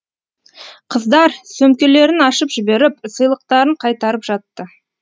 қыздар сөмкелерін ашып жіберіп сыйлықтарын қайтарып жатты